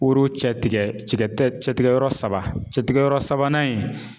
Woro cɛ tigɛ cɛtigɛ yɔrɔ saba cɛtigɛ yɔrɔ sabanan in